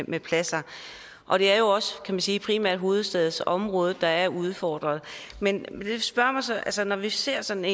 med pladser og det er jo også kan man sige primært hovedstadsområdet der er udfordret men altså når vi ser sådan